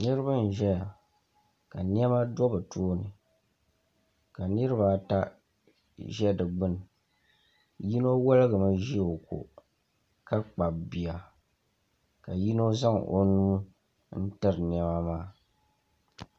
niriba n ʒɛya ka nɛma do bɛ tuuni ka niribaata ʒɛ di gbani yino waligimi ʒɛ o ko ka kpabi bia ka yino zaŋ o nu n tɛri nɛma maa